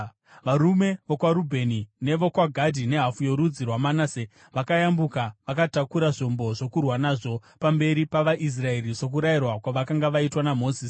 Varume vokwaRubheni nevokwaGadhi nehafu yorudzi rwaManase vakayambuka, vakatakura zvombo zvokurwa nazvo, pamberi pavaIsraeri, sokurayirwa kwavakanga vaitwa naMozisi.